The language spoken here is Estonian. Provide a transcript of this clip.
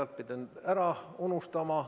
Oleksin äärepealt ära unustanud.